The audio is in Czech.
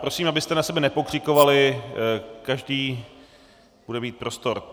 Prosím, abyste na sebe nepokřikovali, každý bude mít prostor.